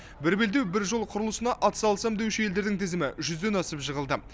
бір белдеу бір жол құрылысына атсалысамын деуші елдердің тізімі жүзден асып жығылды